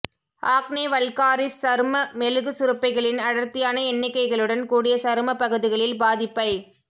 acne vulgaris சரும மெழுகுசுரப்பிகளின் அடர்த்தியான எண்ணிக்கைகளுடன் கூடிய சரும பகுதிகளில் பாதிப்பை